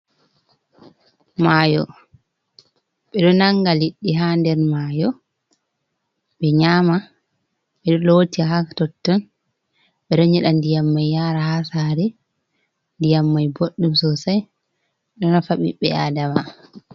Mayo: Ɓeɗo nanga liɗɗi ha nder mayo be nyama, ɓeɗo loti ha totton, ɓeɗo nyeɗa ndiyam mai yara ha sare, ndiyam mai boɗɗum sosai do nafa ɓiɓɓe Adama.